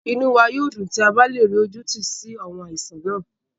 Inú wá yóò dùn tí a bá le rí ojútùú sí àwọn àìsàn náà